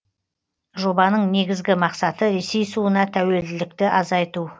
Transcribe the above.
жобаның негізгі мақсаты ресей суына тәуелділікті азайту